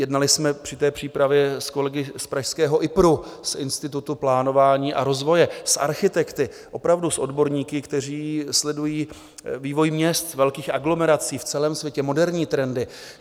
Jednali jsme při té přípravě s kolegy z pražského IPRu, z Institutu plánování a rozvoje, a architekty, opravdu s odborníky, kteří sledují vývoj měst, velkých aglomerací v celém světě, moderní trendy.